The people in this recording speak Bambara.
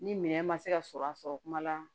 Ni minɛn ma se ka sɔrɔ a sɔrɔ kuma la